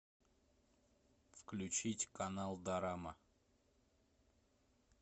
включить канал дорама